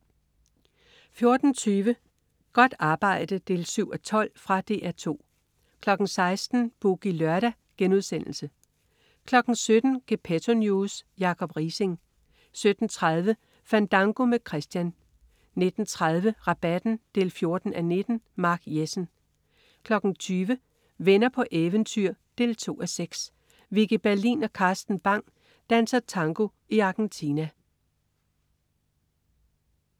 14.20 Godt arbejde 7:12. Fra DR 2 16.00 Boogie Lørdag* 17.00 Gepetto News. Jacob Riising 17.30 Fandango med Christian 19.30 Rabatten 14:19. Mark Jessen 20.00 Venner på eventyr 2:6. Vicki Berlin og Carsten Bang danser tango i Argentina